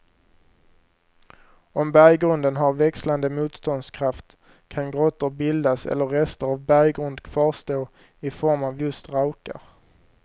Om berggrunden har växlande motståndskraft kan grottor bildas eller rester av berggrund kvarstå i form av just raukar.